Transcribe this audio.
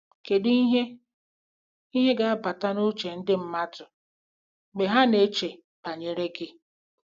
Kedu ihe ihe ga-abata n'uche ndị mmadụ mgbe ha na-eche banyere gị?